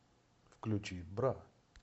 включи бра